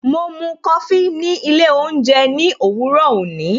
Mo mú Kofi ni ilé oúnjẹ ní òwúrò òní